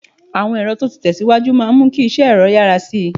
Àwọn ẹ̀rọ tó ti tẹ̀ síwájú máa mú kí iṣẹ́ ẹ̀rọ yára sí i